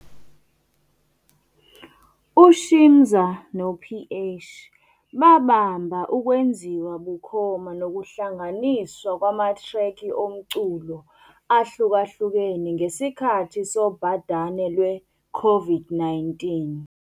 UShimza no-PH babamba ukwenziwa bukhoma nokuhlanganiswa kwamathrekhi omculo ahlukahlukene ngesikhathi sobhadane lwe-COVID-19.